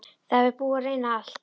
Það er búið að reyna allt.